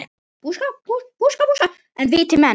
En viti menn.